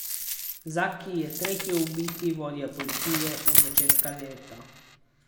Zaki je tretji ubiti vodja policije od začetka leta.